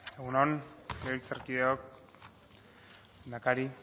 egun on legebiltzarkideok lehendakari